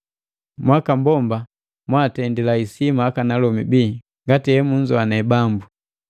Mwakambomba mwaatendila isima akanalomi bii ngati emunzoane Bambu.